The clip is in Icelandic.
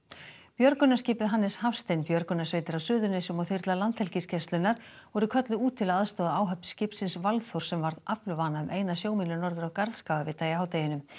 björgunarskipið Hannes Hafstein björgunarsveitir á Suðurnesjum og þyrla Landhelgisgæslunnar voru kölluð út til að aðstoða áhöfn skipsins Valþórs sem varð aflvana um eina sjómílu norður af Garðskagavita í hádeginu